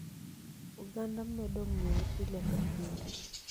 Oganda medo ng'eye pile ka pile.